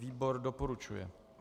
Výbor doporučuje.